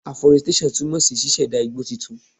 Aforestation túmọ̀ sí ṣíṣẹ̀dá igbó titun.